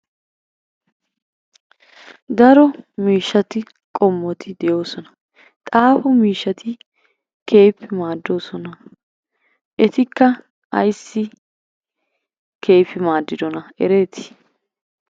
Daro miishshati qommoti de'oosona. Xaafo miishshati keehippe maaddoosona. Etikka ayssi keehippe maaddidonaa ereetii?